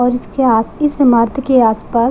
और इसके के आसपास --